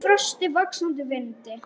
Í frosti, vaxandi vindi.